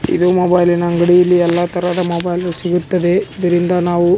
ಇದು ಮೊಬೈಲಿನ ಅಂಗಡಿ ಇಲ್ಲಿ ಎಲ್ಲ ತರಹದ ಮೊಬೈಲ್ ಸಿಗುತ್ತದೆ ಇದರಿಂದ ನಾವು --